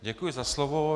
Děkuji za slovo.